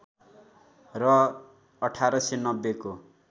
र १८९० को